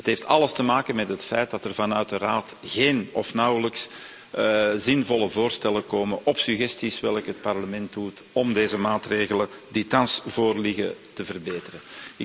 Dat heeft alles te maken met het feit dat er vanuit de Raad geen of nauwelijks zinvolle voorstellen komen op suggesties die het Parlement doet om de maatregelen die thans voorliggen te verbeteren.